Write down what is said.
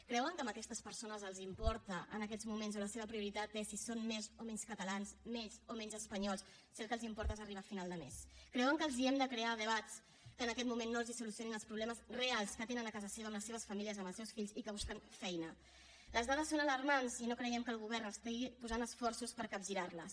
creuen que a aquestes persones els importa en aquests moments o la seva prioritat és si són més o menys catalans més o menys espanyols si el que els importa és arribar a final de més creuen que els hem de crear debats que en aquest moment no els solucionin els problemes reals que tenen a casa seva amb les seves famílies amb els seus fills i que busquen feina les dades són alarmants i no creiem que el govern posi esforços per capgirarles